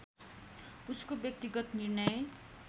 उसको व्यक्तिगत निर्णय